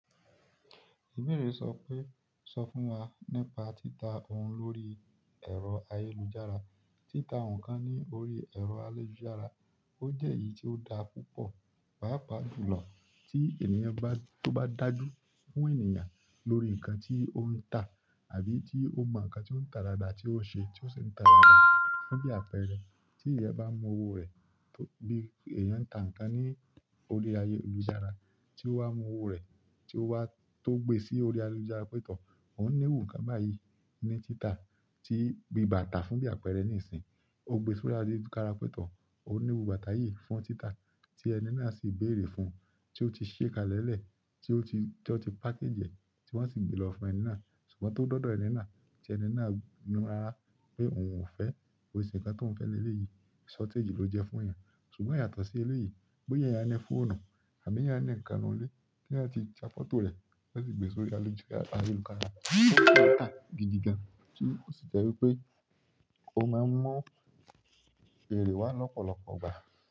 Ìbéèrè sọ pé, sọ fún wa nípa títa ohun lórí ẹ̀rọ ayélujára. Títa ǹkan ní orí ẹrọ ayélujára ó jẹ èyí tí ó dáa púpọ̀ pàápàá jùlọ ti ènìyàn bá, to bá dájú fún ènìyàn lórí ǹkan tó ń tà àbí tí ó mọ nǹkan tí ó ń ta dáadáa tí ó ṣe, tí ó ṣe ń ta dáadáa fún bí àpẹẹrẹ. Tí èèyàn bá mú owó rẹ̀ tó bí èèyàn ń ta nǹkan ní orí ayélujára tí ó wá mú owó rẹ̀, tí ó wá tó gbé sí orí ayélujára pétọ̀, òun niru nǹkan báyìí ní títa bií bàtà fún bí àpẹẹrẹ nísìínyi. Ó gbe sí orí ayélujára pé tọ̀, òun niru bàtà yìí fún títa tí ẹni náà sì béèrè fún, tí ó ti ṣé kalẹ̀lẹ̀, tí ó ti, tí wọ́n ti pákéjìẹ̀, tí wọ́n sì gbé lọ fún ẹni náà. Ṣùgbọ́n tó dọ́dọ̀ ẹni náà, tí ẹni náà ni rara pé òun ò fẹ́, ko kin ṣe ńkan tí òun fẹ́ lé ilé yìí, shortage ló jẹ fún èèyàn. Ṣùgbọ́n yàtọ̀ sí ilé yìí, bóyá ẹ̀yán ni fòòní àbí eyan ni ǹkan ninù ilé, tí ẹ̀yán ti ya fọ́tò rẹ̀, ti wón sì gbe sí orí ayélujára pétọ̀, o sii nta gigi gan. Tí ó sì jẹ́ wípé o máa ń mú ìbéèrè wá lọ́pọ̀lọpọ̀ ìgbà.